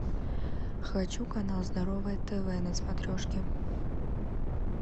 хочу канал здоровое тв на смотрешке